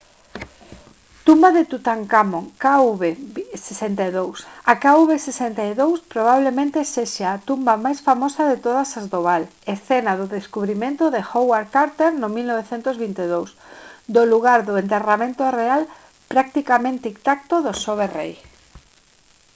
tumba de tutankamón kv62. a kv62 probablemente sexa a tumba máis famosa de todas as do val escena do descubrimento de howard carter no 1922 do lugar do enterramento real practicamente intacto do xove rei